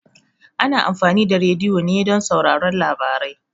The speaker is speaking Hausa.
Ana amfani da rediyo ne don sauraron labarai.